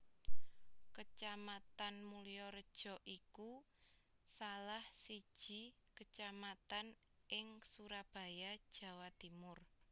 Kecamatan Mulyorejo iku salah siji kecamatan ing Surabaya Jawa Timur